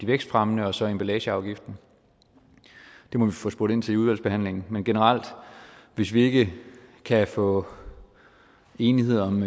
vækstfremmere og så emballageafgiften det må vi få spurgt ind til i udvalgsbehandlingen men generelt hvis vi ikke kan få enighed om